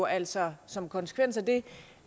altså som en konsekvens af det